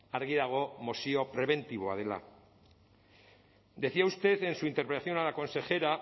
argi dago mozio prebentiboa dela decía usted en su intervención a la consejera